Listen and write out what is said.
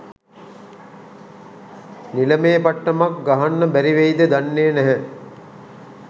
නිලමේ පට්ටමක් ගහන්න බැරිවෙයිද දන්නේ නැහැ